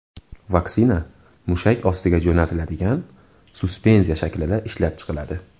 Vaksina mushak ostiga jo‘natiladigan suspenziya shaklida ishlab chiqiladi.